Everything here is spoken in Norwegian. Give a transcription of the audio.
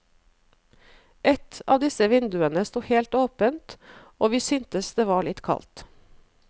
Et av disse vinduene sto helt åpent og vi syntes det var litt kaldt.